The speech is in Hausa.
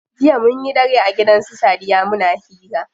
Jiya munyi dare a gidan su sadiya muna hira.